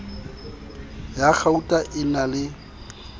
ya kgauta e na le